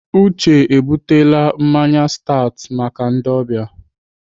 Uche ebutele mmanya stat maka ndị ọbịa.